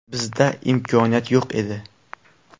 Bizda imkoniyat yo‘q edi.